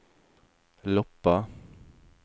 Loppa